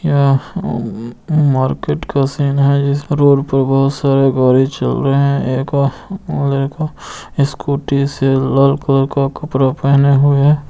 यह ऊ ऊ मार्केट का सीन है जिसका रोड पर बहुत सारे गाड़ी चल रहे हैं। एक और लड़का स्कूटी से लाल कलर के कपड़ा पहने हुए --